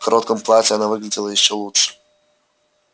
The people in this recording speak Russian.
в коротком платье она выглядела ещё лучше